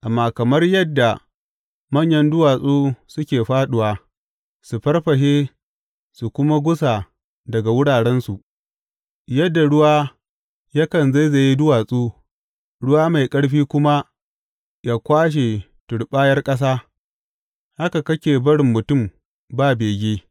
Amma kamar yadda manyan duwatsu suke fāɗuwa su farfashe su kuma gusa daga wurarensu, yadda ruwa yakan zaizaye duwatsu ruwa mai ƙarfi kuma yă kwashe turɓayar ƙasa, haka kake barin mutum ba bege.